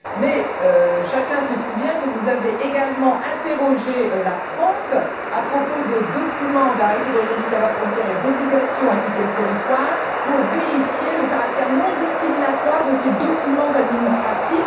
Mais chacun se souvient que vous avez également interrogé la France à propos d'arrêtés de reconduite à la frontière et d'obligation de quitter le territoire pour vérifier le caractère non discriminatoire de ces documents administratifs.